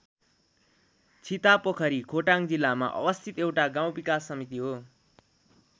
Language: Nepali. छितापोखरी खोटाङ जिल्लामा अवस्थित एउटा गाउँ विकास समिति हो।